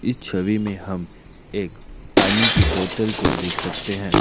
इस छवि में हम एक पानी की बोतल को देख सकते हैं।